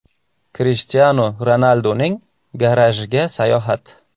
Krishtianu Ronalduning garajiga sayohat !